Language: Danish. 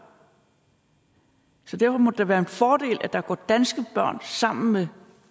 så derfor må det da være en fordel at der går danske børn sammen med